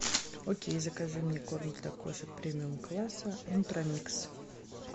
окей закажи мне корм для кошек премиум класса нутра микс